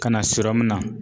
Ka na na.